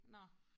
Nåh